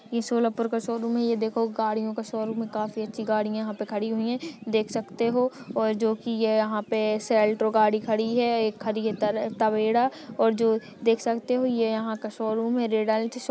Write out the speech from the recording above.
ये सोलापुर का शोरूम है ये देखो गाड़ियों का शोरूम है काफी अच्छी गाड़ियां यहा पर खड़ी हुई है देख सखते हो जो की ये यहाँ पे गाड़ी खड़ी है और एक खड़ी है तवेरा और जो देख सखते हो ये यहाँ का शोरूम है।